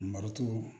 Marɔku